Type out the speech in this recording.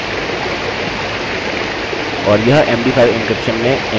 और यह md5 encryption में एन्क्रिप्ट हो गया है